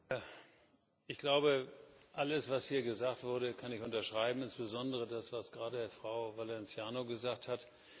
Herr Präsident! Ich glaube, alles, was hier gesagt wurde, kann ich unterschreiben, insbesondere das, was gerade Frau Valenciano gesagt hat.